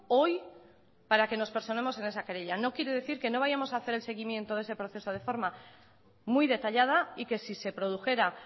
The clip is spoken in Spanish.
hoy para que nos personemos en esa querella no quiere decir que no vayamos a hacer el seguimiento de ese proceso de forma muy detallada y que si se produjera